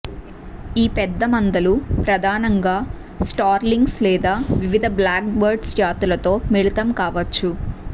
ఈ పెద్ద మందలు ప్రధానంగా స్టార్లింగ్స్ లేదా వివిధ బ్లాక్బర్డ్ జాతులతో మిళితం కావచ్చు